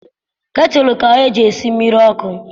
Ketụlụ ka eji esi mmiri ọkụ.